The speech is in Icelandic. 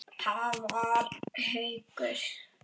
Það var Haukur.